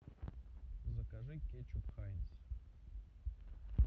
закажи кетчуп хайнс